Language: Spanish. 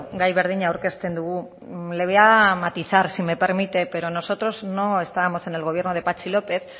gai berdina aurkezten dugu le voy a matizar si me permite pero nosotros no estábamos en el gobierno de patxi lópez